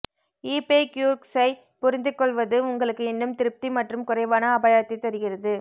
eBay க்யூர்க்ஸை புரிந்துகொள்வது உங்களுக்கு இன்னும் திருப்தி மற்றும் குறைவான அபாயத்தை தருகிறது